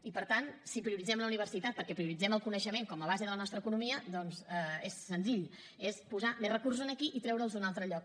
i per tant si prioritzem la universitat perquè prioritzem el coneixement com a base de la nostra economia doncs és senzill és posar més recursos aquí i treure’ls d’un altre lloc